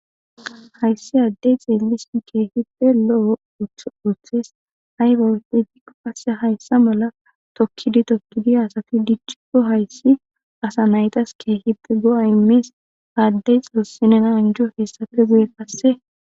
Hayssi addey xeelis keehide lo7o tuthes hay bawtegikko kasse hayssa mala tokkidi tokkidi asafi dichchikko hayssi asa naytas keehide go7a immies aaddey xuussinena anjo hessafe guye kasse